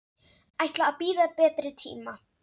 Ætla að bíða betri tíma.